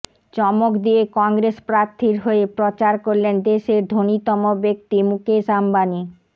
চমক দিয়ে কংগ্রেস প্রার্থীর হয়ে প্রচার করলেন দেশের ধনীতম ব্যাক্তি মুকেশ আম্বানী